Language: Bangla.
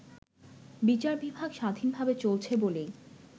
বিচার বিভাগ স্বাধীনভাবে চলছে বলেই